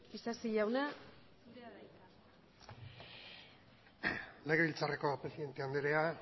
isasi jauna zurea da hitza legebiltzarreko presidente anderea